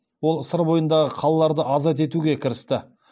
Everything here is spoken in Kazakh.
ол сыр бойындағы қалаларды азат етуге кірісті